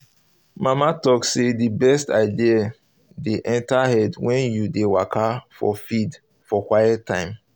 mama talk say the best ideas dey enter head when you dey waka for field for quit time